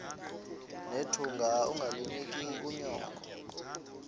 nethunga ungalinik unyoko